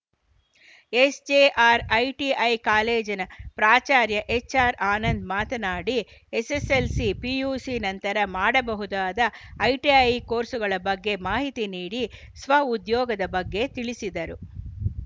SJR ITI ಕಾಲೇಜಿನ ಪ್ರಾಚಾರ್ಯ ಎಚ್‌ಆರ್‌ಆನಂದ್‌ ಮಾತನಾಡಿ ಎಸ್ಸೆಸ್ಸೆಲ್ಸಿ ಪಿಯುಸಿ ನಂತರ ಮಾಡಬಹುದಾದ ಐಟಿಐ ಕೋರ್ಸ್‌ಗಳ ಬಗ್ಗೆ ಮಾಹಿತಿ ನೀಡಿ ಸ್ವಉದ್ಯೋಗದ ಬಗ್ಗೆ ತಿಳಿಸಿದರು